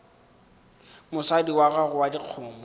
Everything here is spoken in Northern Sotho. mosadi wa gago wa dikgomo